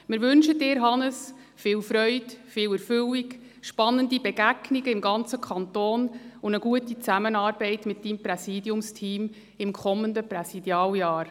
Wir wünschen Ihnen, Hannes Zaugg, viel Freude, Erfüllung, spannende Begegnungen im ganzen Kanton und eine gute Zusammenarbeit mit Ihrem Präsidiumsteam im kommenden Präsidialjahr.